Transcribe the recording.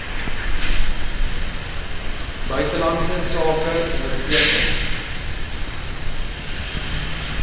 buitelandse sake onderteken